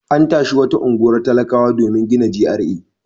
An tashi wata unguwar talakawa domin gina GRA.